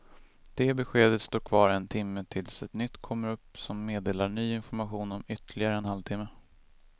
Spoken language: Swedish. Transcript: Det beskedet står kvar en timme tills ett nytt kommer upp som meddelar ny information om ytterligare en halv timme.